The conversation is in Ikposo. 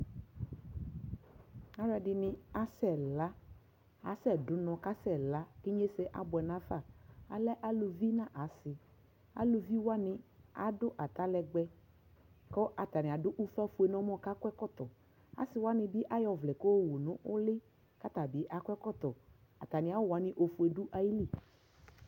alʋɛdini asɛ la, asɛ dʋnɔ kʋ asɛ la kʋinyɛsɛ abʋɛ nʋ aƒa, alɛ alʋvi nʋ asii, alʋvi waniadʋata lɛgbɛ kʋ atani adʋ ʋƒa ƒʋɛ nʋ ɛmɔ kʋ akɔ ɛkɔtɔ, asii wani bi ayɔ ɔvlɛ kʋ ɔwʋ nʋ ʋli kʋ atabi akɔ ɛkɔtɔ, atami awʋ wani ɔƒʋɛ dʋ ali